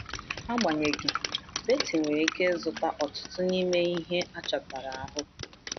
Agbanyeghị, Beatty nwere ike ịzụta ọtụtụ n’ime ihe achọtara ahụ.